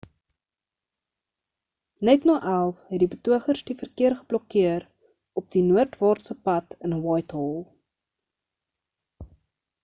net na 11:00 het die betogers die verkeer geblokkeer op die noordwaartse pad in whitehall